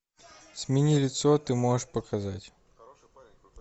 смени лицо ты можешь показать